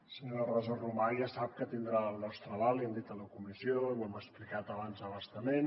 senyora rosa romà ja sap que tindrà el nostre aval ho hem dit a la comissió ho hem explicat abans a bastament